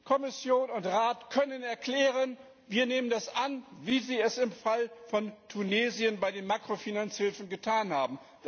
Kommission und Rat können erklären, dass sie das annehmen, wie sie es im Fall von Tunesien bei den Makrofinanzhilfen getan haben.